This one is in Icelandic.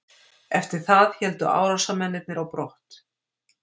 Eftir það héldu árásarmennirnir á brott